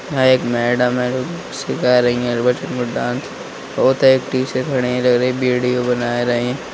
यहाँ एक मेडम है जो सिखा रही हैं डांस वो तो एक पीछे खड़े हैं लग रहे हैं बीडीओ बना रही हैं।